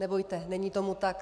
Nebojte, není tomu tak.